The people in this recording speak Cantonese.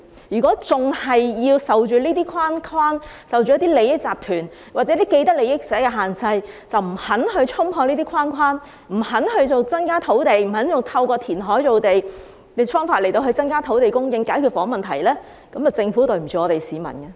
如果仍然要受這些框框、利益集團或既得利益者的限制，而不肯衝破這些框框，不肯透過填海造地等方法增加土地供應來解決房屋問題，那麼政府便對不起市民。